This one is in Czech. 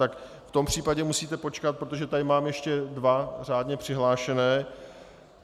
Tak v tom případě musíte počkat, protože tady mám ještě dva řádně přihlášené.